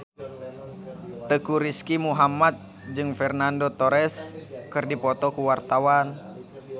Teuku Rizky Muhammad jeung Fernando Torres keur dipoto ku wartawan